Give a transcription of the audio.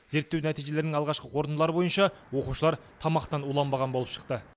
зерттеу нәтижелерінің алғашқы қорытындылары бойынша оқушылар тамақтан уланбаған болып шықты